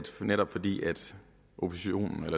netop fordi